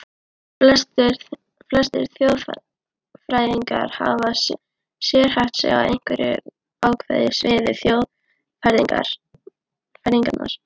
Flestir þjóðfræðingar hafa sérhæft sig á einhverju ákveðnu sviði þjóðfræðinnar.